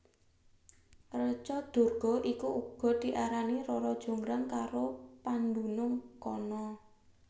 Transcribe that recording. Reca Durga iku uga diarani Rara Jonggrang karo pandunung kana